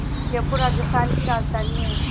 जयपुर राजस्थान की राजधानी है